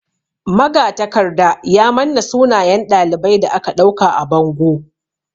Magatakarda ya manna sunayen ɗalibai da aka ɗauka a bango.